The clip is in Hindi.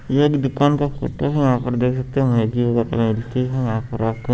एक दुकान का फोटो है वहां पर देख सकते हो--